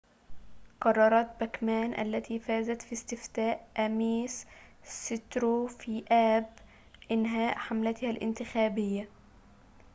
قررت باكمان التي فازت في استفتاء آميس سترو في آب إنهاء حملتها الانتخابية